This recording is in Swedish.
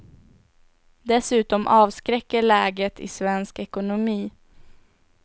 Dessutom avskräcker läget i svensk ekonomi.